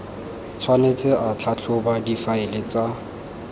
tshwanetse a tlhatlhobe difaele tsa